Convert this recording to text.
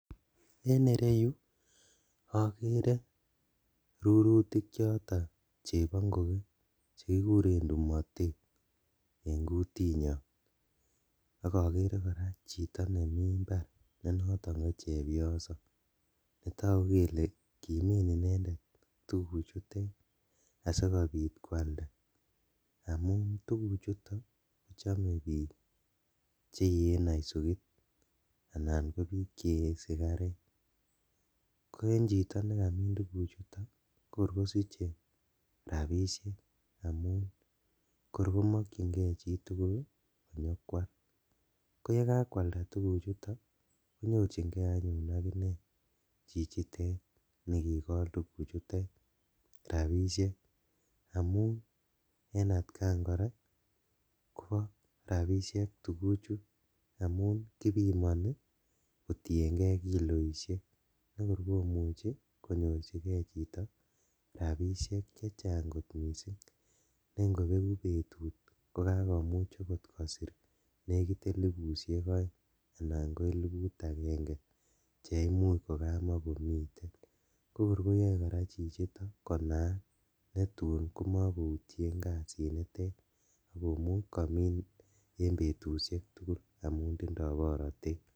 En ireyu okere rurutik choton chebongokee chekikuren tumotet en kutinyon, ak okere koraa chito nemi imbar nenoton ko chepyoso netogu kele kimi inendet tuguchutet asikobit kwalda amun tuguchuto kochome bik cheyee naisukit anan kobik chee sigaret, ko en chito nekamin tuguchuto ko kor kosiche rabishek, amun kor komokchingee chitugul kor nyokwal, koye kakwalda tuguchuto konyorchingee anyun akinee chichitet nekikol tuguchutet rabishek, amun en atkan koraa kobo rabishek tuguchu amun kibimoni kotiengee kiloishek bekor komuche konyorjigee chito rabishek chechang kot missing ne ingobeku betut kokakomuch okot kosir nekit elipushek oeng anan ko eliput agenge cheimuch kokamokomiten kokor koyoe koraa chichito konaak netum komokoutien kasinitet ak komuch komin en betushek tugul amun tindo borotet.